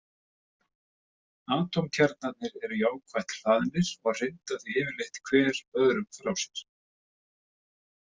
Atómkjarnarnir eru jákvætt hlaðnir og hrinda því yfirleitt hver öðrum frá sér.